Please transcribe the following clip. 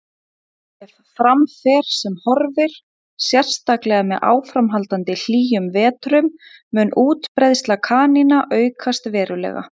Ef fram fer sem horfir, sérstaklega með áframhaldandi hlýjum vetrum, mun útbreiðsla kanína aukast verulega.